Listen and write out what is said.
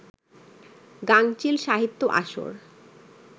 গাঙচিল সাহিত্য আসর